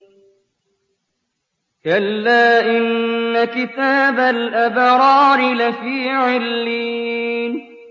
كَلَّا إِنَّ كِتَابَ الْأَبْرَارِ لَفِي عِلِّيِّينَ